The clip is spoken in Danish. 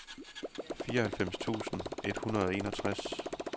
fireoghalvfems tusind et hundrede og enogtres